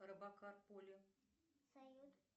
робокар полли салют